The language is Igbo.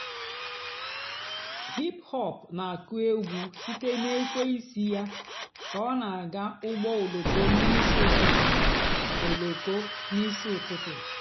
hìp-hòp nà- àkụ́ ègwú sìté nà èkwéísí yá kà ọ́ nà-àgá ụ́gbọ́ òlóko n'ìsí ụ́tụtụ́. òlóko n'ìsí ụ́tụtụ́.